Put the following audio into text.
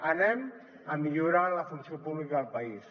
anem a millorar la funció pública del país